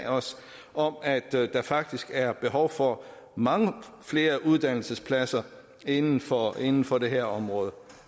om at der faktisk er behov for mange flere uddannelsespladser inden for inden for det her område